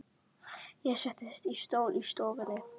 Ég settist í stól í stofunni.